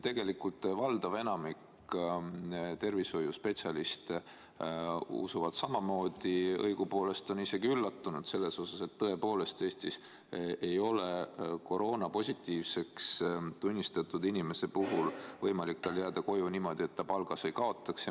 Tegelikult enamik tervishoiuspetsialiste usub samamoodi, õigupoolest on isegi üllatunud selle üle, et Eestis ei ole koroonapositiivseks tunnistatud inimesel võimalik jääda koju niimoodi, et ta palgas ei kaotaks.